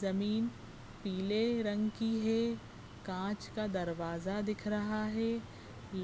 जमीन पीले रंग की है कांच का दरवाजा दिख रहा है